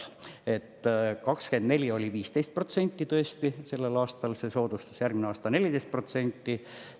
2024 oli 15% tõesti see soodustus, järgmisel aastal on 14%.